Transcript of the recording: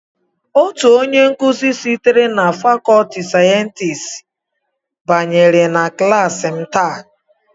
Otu onye nkuzi sitere na fàkọọtị sayensị banyere na klass m tàà